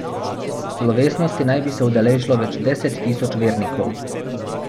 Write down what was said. Slovesnosti naj bi se udeležilo več deset tisoč vernikov.